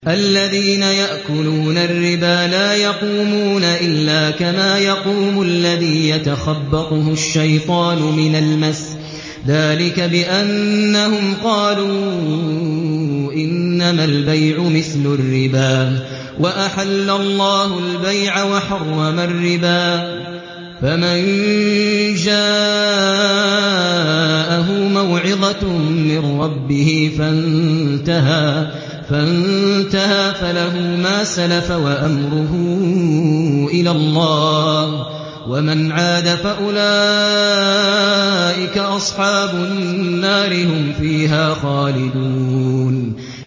الَّذِينَ يَأْكُلُونَ الرِّبَا لَا يَقُومُونَ إِلَّا كَمَا يَقُومُ الَّذِي يَتَخَبَّطُهُ الشَّيْطَانُ مِنَ الْمَسِّ ۚ ذَٰلِكَ بِأَنَّهُمْ قَالُوا إِنَّمَا الْبَيْعُ مِثْلُ الرِّبَا ۗ وَأَحَلَّ اللَّهُ الْبَيْعَ وَحَرَّمَ الرِّبَا ۚ فَمَن جَاءَهُ مَوْعِظَةٌ مِّن رَّبِّهِ فَانتَهَىٰ فَلَهُ مَا سَلَفَ وَأَمْرُهُ إِلَى اللَّهِ ۖ وَمَنْ عَادَ فَأُولَٰئِكَ أَصْحَابُ النَّارِ ۖ هُمْ فِيهَا خَالِدُونَ